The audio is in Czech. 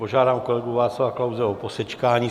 Požádám kolegu Václava Klause o posečkání.